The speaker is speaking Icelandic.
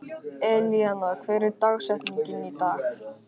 Elíanna, hver er dagsetningin í dag?